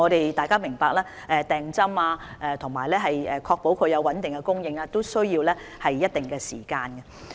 大家要明白，訂購疫苗和確保穩定供應也需要一定的時間。